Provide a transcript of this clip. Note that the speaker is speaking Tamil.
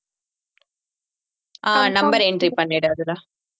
ஆஹ் number entry பண்ணிடு அதுதான்